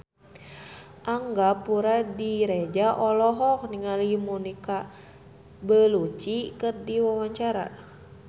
Angga Puradiredja olohok ningali Monica Belluci keur diwawancara